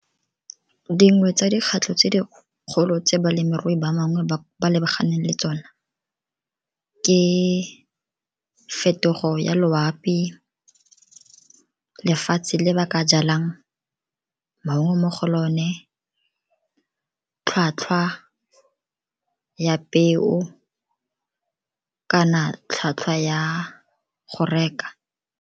Dingwe tsa tse dikgolo tse balemirui ba bangwe ba ba lebaganeng le tsona, ke fetogo ya loapi, lefatshe le ba ka jalang maungo mo go lone, tlhwatlhwa ya peo kana tlhwatlhwa ya go reka.